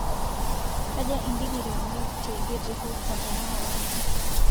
kaja indikiriini teidie tehouston tenakata nji